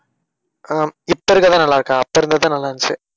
அஹ் இப்ப இருக்கறதுதான் நல்லா இருக்கா? அப்ப இருக்கறதுதான் நல்லா இருந்துச்சு